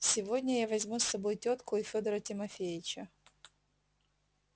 сегодня я возьму с собой тётку и федора тимофеича